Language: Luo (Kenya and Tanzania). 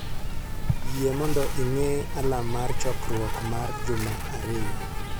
Yie mondo ing'e alarm mar chokruok mar juma ariyo